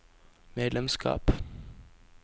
medlemskap